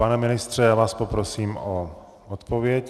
Pane ministře, já vás poprosím o odpověď.